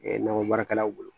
nakɔbaarakɛlaw bolo